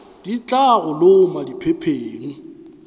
di tla go loma diphepheng